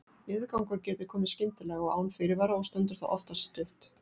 Niðurgangur getur komið skyndilega og án fyrirvara og stendur þá oftast stutt.